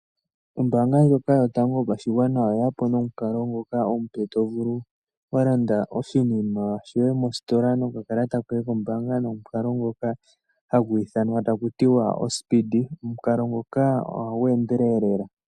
Ombaanga ndyoka yotango yopashigwana oyeyapo nomukalo ngoka omupe, tovulu walanda oshinima shoye mositola nokakalata koye nomukalo ngoka haku tiwa oSpeedee. Omukalo ngoka ohagu endelele lela.